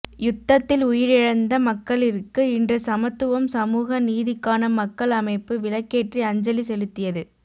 யுத்ததில் உயிரிழந்த மக்களிற்கு இன்று சமத்துவம் சமூக நீதிக்கான மக்கள் அமைப்பு விளக்கேற்றி அஞ்சலி செலுத்தியது